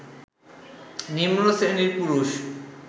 নিম্নশ্রেণীর পুরুষ